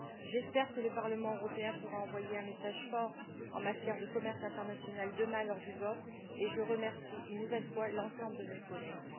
J'espère que le Parlement européen pourra envoyer un message fort en matière de commerce international lors du vote qui aura lieu demain, et je remercie une nouvelle fois l'ensemble de mes collègues.